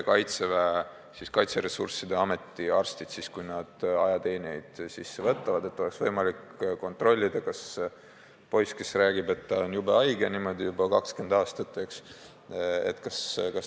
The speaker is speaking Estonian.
Kaitseressursside Ameti arstid soovisid, et kui uusi ajateenijaid teenistusse võetakse, siis oleks võimalik kontrollida, kas poiss, kes räägib, et ta on jube haige olnud juba 20 aastat, tegelikult on haige või mitte.